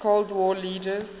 cold war leaders